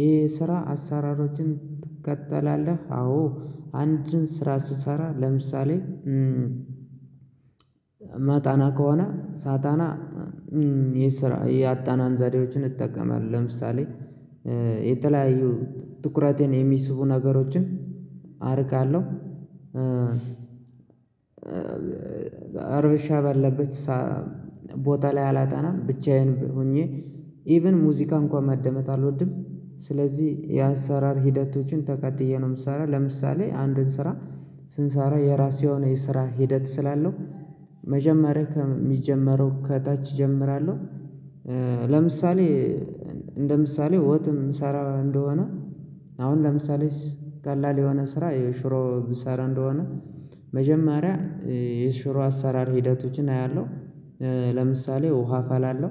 ይሄ ስራ አሳራሮችን ትከተላለህ? አዎ አንድን ስራ ስሰራ ለምሳሌ ማጠና ከሆነ ሳጠና የሰራ ያጠናን ዘዴዎችን እጠቀማለሁ ለምሳሌ የተለያዩ ትኩረቴን የሚስቡ ነገሮችን አርቃለሁ። እርብሻ ባለበት ቦታ ላይ አላጠናም ብቻዬን ሆኜ ኢቭን ሙዚቃ እንኳን ማደመጥ አልወድም። ስለዚህ የአሰራር ሂደቶችን ተከትዬ ነው ምሰራው ለምሳሌ አንድን ስራ ስንሰራ የራሴ የሆነ የስራ ሂደት ስላለው መጀመሪያ ከሚጀምረው ከታች እጀምራለሁ። ለምሳሌ እንደ ምሳሌ ወጥ የምሰራ እንደሆነ አሁን ለምሳሌ ቀላል የሆነ ስራ የሽሮ ብሰራ እንደሆነ መጀመሪያ የሽሮ አሰራር ሂደቶችን አያለሁ። ለምሳሌ ውሃ አፈላለሁ